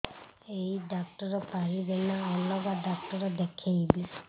ଏଇ ଡ଼ାକ୍ତର ପାରିବେ ନା ଅଲଗା ଡ଼ାକ୍ତର ଦେଖେଇବି